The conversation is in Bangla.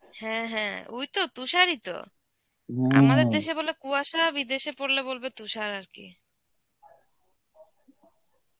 হ্যাঁ হ্যাঁ, ওই তো তুষারই তো. আমাদের দেশে বলে কুয়াশা, বিদেশে পরলে বলবে তুষার আরকি.